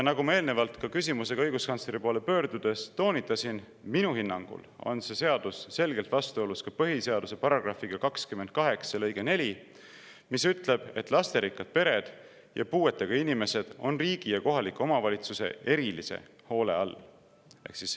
Nagu ma eelnevalt õiguskantsleri poole küsimusega pöördudes toonitasin, minu hinnangul on see seadus selgelt vastuolus ka põhiseaduse § 28 lõikega 4, mis ütleb, et lasterikkad pered ja puuetega inimesed on riigi ja kohaliku omavalitsuse erilise hoole all.